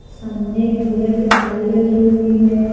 सामने एक पूजा की थाली रखी हुई है।